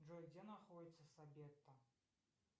джой где находится сабетта